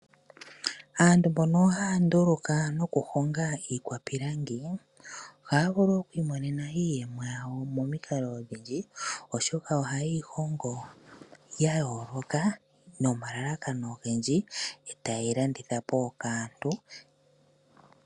Aantu mbono haya nduluka nokuhonga iikwapilangi ohaya vulu okwiimonena iiyemo yawo momikalo odhindji oshoka ohayeyi hongo yayooloka nomalalakano ogendji e tayeyi landitha po kaantu.